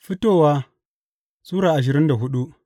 Fitowa Sura ashirin da hudu